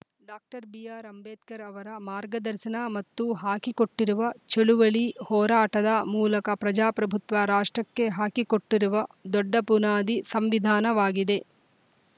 doctor B R Ambedkar ಅವರ ಮಾರ್ಗದರ್ಶನ ಮತ್ತು ಹಾಕಿಕೊಟ್ಟಿರುವ ಚಳುವಳಿ ಹೋರಾಟದ ಮೂಲಕ ಪ್ರಜಾಪ್ರಭುತ್ವ ರಾಷ್ಟ್ರಕ್ಕೆ ಹಾಕಿಕೊಟ್ಟಿರುವ ದೊಡ್ಡ ಬುನಾದಿ ಸಂವಿಧಾನವಾಗಿದೆ